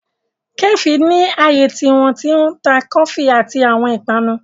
Kàféè ni ààyè tí wọ́n ti ń ta kọfí àti àwọn ìpanu.